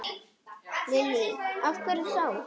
Lillý: Af hverju þá?